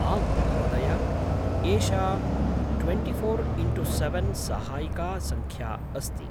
आम्, महोदया, एषा ट्वेण्टिफोर् इण्टु सेवेन् सहायिका सङ्ख्या अस्ति।